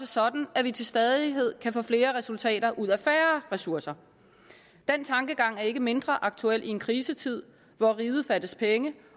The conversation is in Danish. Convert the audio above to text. sådan at vi til stadighed kan få flere resultater ud af færre ressourcer den tankegang er ikke mindre aktuel i en krisetid hvor riget fattes penge